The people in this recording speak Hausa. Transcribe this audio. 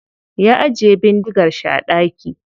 Ya ajiye bindigar shi a daki.